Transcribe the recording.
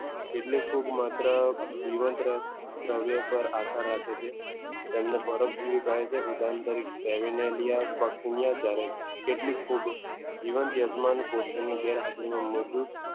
એટલે ફૂગ માત્ર જીવંત દ્રવ્ય પર આધાર રાખે છે તેમને પરોપજીવી કહે છે ઉદાહરણ તરીકે કેટલીક ફૂગ જીવાન યજમાન કોષની ગેરહાજરીમાં મૃદુ